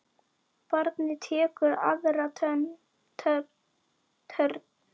Barnið tekur aðra törn.